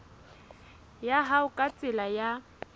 ya hao ka tsela ya